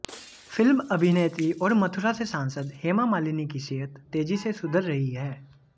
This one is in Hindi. फिल्म अभिनेत्री और मथुरा से सांसद हेमा मालिनी की सेहत तेजी से सुधर रही है